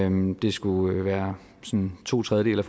om det skulle være sådan to tredjedele